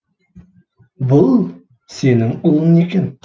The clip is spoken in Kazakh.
бұл сенің ұлың екен